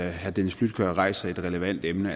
at herre dennis flydtkjær rejser et relevant emne